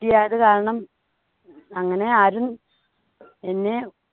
കുട്ടിയായത് കാരണം അങ്ങനെ ആരും എന്നെ